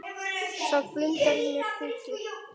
Það blundar í mér púki.